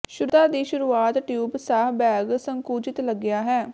ਸ਼ੁੱਧਤਾ ਦੀ ਸ਼ੁਰੂਆਤ ਟਿਊਬ ਸਾਹ ਬੈਗ ਸੰਕੁਚਿਤ ਲੱਗਿਆ ਹੈ